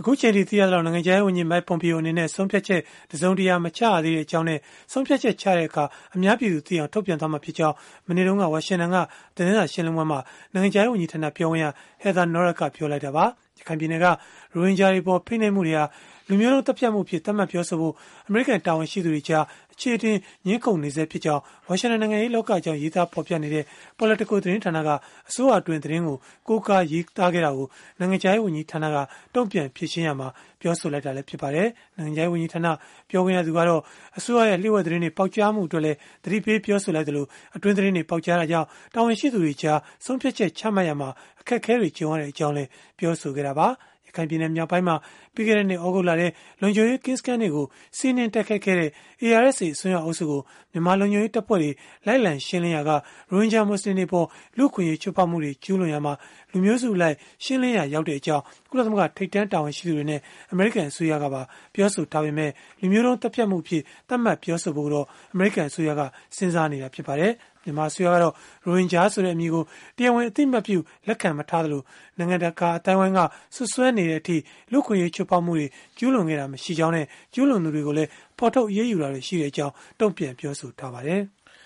အခုအချိန်အထိ သိရသလောက် နိုင်ငံခြားရေးဝန်ကြီး Mike Pompeo အနေနဲ့ ဆုံးဖြတ်ချက် တစုံတရာ မချရသေးကြောင်းနဲ့ ဆုံးဖြတ်ချက် ချပြီးတဲ့အခါ အများပြည်သူသိအောင် ထုတ်ပြန်မှာဖြစ်ကြောင်း မနေ့တုန်းက ဝါရှင်တန်က သတင်းစာရှင်းလင်းပွဲမှာ နိုင်ငံခြားရေးဝန်ကြီးဌာန ပြောခွင့်ရ Heather Nauert က ပြောဆိုလိုက်တာပါ။ ရခိုင်ပြည်နယ်က ရိုဟင်ဂျာတွေအပေါ် ဖိနှိပ်မှုတွေဟာ လူမျိုးတုန်း သတ်ဖြတ်မှုအဖြစ် သတ်မှတ်ပြောဆိုဖို့ အမေရိကန် တာဝန်ရှိသူတွေကြား အချေအတင် ငြင်းခုန်နေဆဲဖြစ်ကြောင်း ဝါရှင်တန် နိုင်ငံရေးလောကအကြောင်း ရေးသားဖော်ပြနေတဲ့ Politico သတင်းဌာနက အစိုးရအတွင်းသတင်းကို ကိုးကားဖော်ပြခဲ့တာကို နိုင်ငံခြားရေး ဝန်ကြီးဌာနက တုန့်ပြန်ဖြေရှင်းရာမှာ အခုလို ပြောဆိုလိုက်တာလည်း ဖြစ်ပါတယ်။ နိုင်ငံခြားရေးဝန်ကြီးဌာန ပြောခွင့်ရကတော့ အစိုးရရဲ့ လျို့ဝှက်သတင်းတွေ ပေါက်ကြားမှုအတွက်လည်း သတိပေးပြောဆိုခဲ့သလို၊ အတွင်းသတင်းတွေ ပေါက်ကြားတဲ့အတွက် တာဝန်ရှိသူတွေကြား ဆုံးဖြတ်ချက်ချမှတ်ရာမှာ အခက်အခဲတွေ ကြုံရကြောင်းလည်း ပြောဆိုခဲ့တာပါ။ ရခိုင်ပြည်နယ် မြောက်ပိုင်းမှာ ပြီးခဲ့တဲ့နှစ် သြဂုတ်လထဲ လုံခြုံရေးကင်းစခန်းတွေကို စီးနင်းတိုက်ခိုက်ခဲ့တဲ့ ARSA အစွန်းရောက်အုပ်စုကို မြန်မာလုံခြုံရေးတပ်ဖွဲ့တွေ လိုက်လံရှင်းလင်းရာက ရိုဟင်ဂျာမူဆလင်တွေအပေါ် လူ့အခွင့်အရေး ချိုးဖောက်မှုတွေ ကျုးလွန်ရာမှာ လူမျိုးစုအလိုက် ရှင်းလင်းရာ ရောက်ခဲ့ကြောင်း ကုလသမဂ္ဂ ထိပ်တန်းတာဝန်ရှိသူတွေနဲ့ အမေရိကန် အစိုးရကပါ ပြောဆိုထားကြပေမဲ့ လူမျိုးတုန်းသတ်ဖြတ်မှုအဖြစ် သတ်မှတ်ပြောဆိုဖို့ကိုတော့ အမေရိကန်အစိုးရက စဉ်းစားနေဆဲ ဖြစ်ပါတယ်။ မြန်မာအစိုးရကတော့ ရိုဟင်ဂျာဆိုတဲ့ အမည်ကို တရားဝင် အသိအမှတ်ပြု လက်ခံမထားသလို၊ နိုင်ငံတကာ အသိုင်းအဝန်းက စွပ်စွဲနေတဲ့အထိ လူ့အခွင့်အရေး ချိုးဖောက်မှုတွေ ကျုးလွန်ခဲ့တာ မရှိကြောင်းနဲ့ ကျုးလွန်သူတွေကိုလည်း ဖော်ထုတ်အရေးယူတာတွေရှိကြောင်း တုံ့ပြန်ပြောဆိုထားပါတယ်။